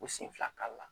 U sen fila kari la